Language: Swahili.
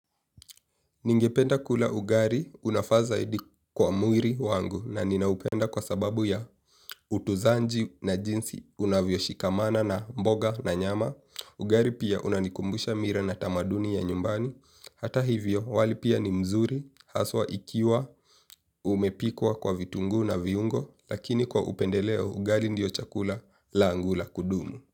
Ningependa kula ugali unafaa zaidi kwa mwiri wangu na ninaupenda kwa sababu ya utuzaji na jinsi unavyoshikamana na mboga na nyama. Ugali pia unanikumbusha mila na tamaduni ya nyumbani. Hata hivyo wali pia ni mzuri haswa ikiwa umepikwa kwa vitungu na viungo. Lakini kwa upendeleo ugali ndio chakula langu la kudumu.